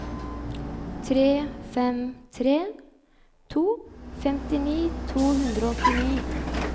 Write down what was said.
tre fem tre to femtini to hundre og åttini